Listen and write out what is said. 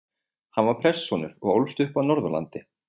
Hann var prestssonur og ólst upp á Norðurlandi.